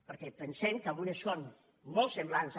perquè pensem que algunes són molts semblants a